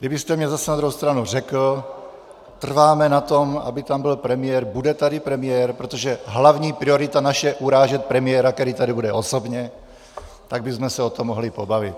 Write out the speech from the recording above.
Kdybyste mně zase na druhou stranu řekl, trváme na tom, aby tam byl premiér, bude tady premiér?, protože hlavní priorita naše je urážet premiéra, který tady bude osobně, tak bychom se o tom mohli pobavit.